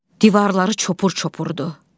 Divarları çopur-çopurdu.